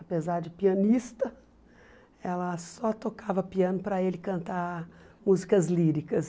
Apesar de pianista, ela só tocava piano para ele cantar músicas líricas.